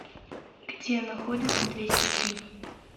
где находится двести три